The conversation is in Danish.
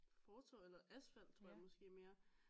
Fortov eller asfalt tror jeg måske mere